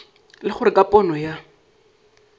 le gore ka pono ya